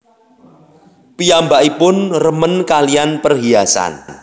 Piyambakipun remen kalihan perhiasan